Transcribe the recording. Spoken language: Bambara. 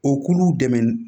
O k'olu dɛmɛ